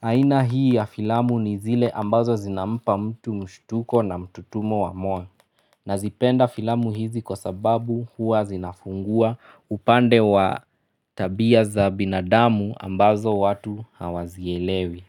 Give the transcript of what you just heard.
Aina hii ya filamu ni zile ambazo zinampa mtu mshtuko na mtutumo wa moyo. Na zipenda filamu hizi kwa sababu huwa zinafungua upande wa tabia za binadamu ambazo watu hawazielewi.